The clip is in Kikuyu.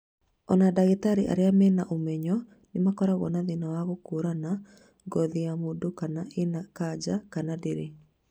Ona dagĩtarĩ arĩa mena ũmenyo nĩ makoragwo na thĩna wa gũkũrana ngothi ya mũndũ kana ĩna kanja kana ndĩrĩ